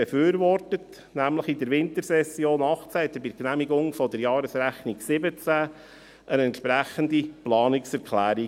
er überwies nämlich in der Wintersession 2018 bei der Genehmigung der Jahresrechnung 2017 eine entsprechende Planungserklärung.